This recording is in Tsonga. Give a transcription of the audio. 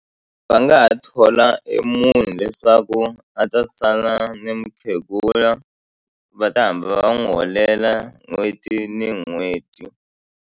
Va nga ha thola e munhu leswaku a ta sala ni mukhegula va ta hamba va n'wi holela n'hweti ni n'hweti.